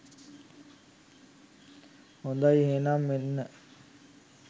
හොඳයි එහෙනම් මෙන්න